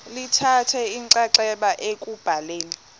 lithatha inxaxheba ekubhaleni